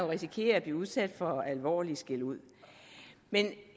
risikere at blive udsat for at få alvorlig skæld ud